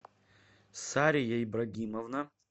сария ибрагимовна